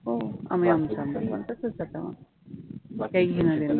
हम्म